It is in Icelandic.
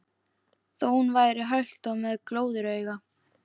Þó hún væri hölt og með glóðarauga.